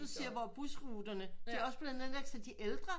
Nu siger hvor busruterne de også er blevet nedlagt så de ældre